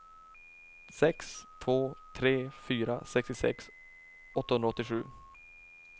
sex två tre fyra sextiosex åttahundraåttiosju